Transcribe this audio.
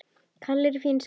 Kalli er í fínu skapi.